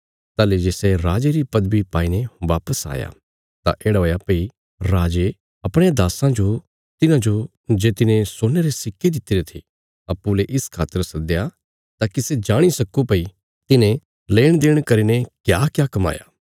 ताहली जे सै राजे री पदवी पाईने वापस आया तां येढ़ा हुया भई राजे अपणयां दास्सां जो तिन्हाजो जे तिने सोने रे सिक्के दित्तिरे थे अप्पूँ ले इस खातर सद्दया ताकि सै जाणी सक्को भई तिन्हें लेणदेण करीने क्याक्या कमाया